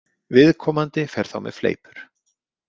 Viðkomandi fer þá með fleipur.